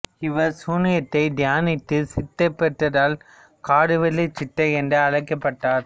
இவர் சூனியத்தை தியானித்து சித்தி பெற்றதால் கடுவெளிச் சித்தர் என்று அழைக்கப்பட்டார்